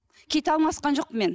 киіт алмасқан жоқпын мен